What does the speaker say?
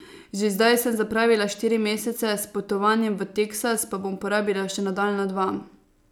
Že zdaj sem zapravila štiri mesece, s potovanjem v Teksas pa bom porabila še nadaljnja dva.